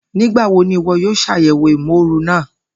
Nigbawo ni iwọ yoo ṣayẹwo imooru naa?